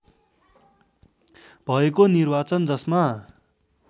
भएको निर्वाचन जसमा